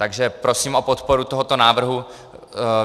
Takže prosím o podporu tohoto návrhu.